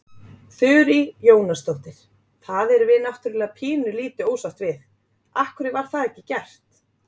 Þurí Jónasdóttir: Það erum við náttúrulega pínulítið ósátt við, af hverju var það ekki gert?